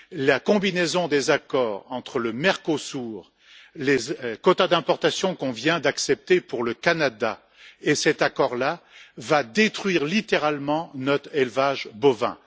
La combinaison entre l'accord avec le Mercosur, les quotas d'importation qu'on vient d'accepter pour le Canada et cet accord là va détruire littéralement notre élevage bovin.